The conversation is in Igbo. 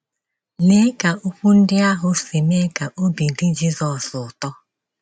Lee ka okwu ndị ahụ si mee ka obi dị Jizọs ụtọ!